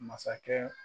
Masakɛ